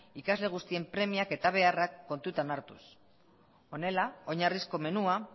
ikasle guztien premiak eta beharrak kontutan hartuz honela oinarrizko menua